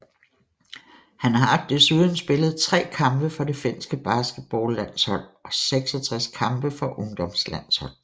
Han har desuden spillet tre kampe for det finske basketballlandshold og 66 kampe for ungdomslandshold